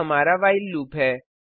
यह हमारा while loop है